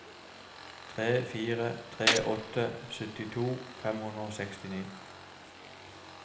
tre fire tre åtte syttito fem hundre og sekstini